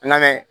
An lamɛn